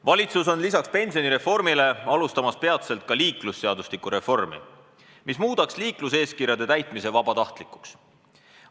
"Valitsus on lisaks pensionireformile alustamas peatselt ka liiklusseadustiku reformi, mis muudaks liikluseeskirjade täitmise vabatahtlikuks.